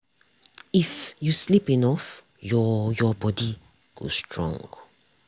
if you sleep enough your your body go strong.